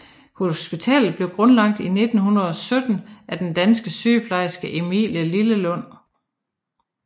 Hospitalet blev grundlagt i 1917 af den danske sygeplejerske Emilie Lillelund